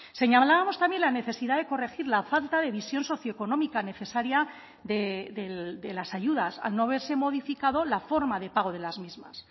señalábamos también la necesidad de corregir la falta de visión socioeconómica necesaria de las ayudas al no verse modificado la forma de pago de las mismas